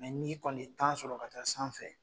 Mɛ n'i kɔni ye tan sɔrɔ ka taa sanfɛ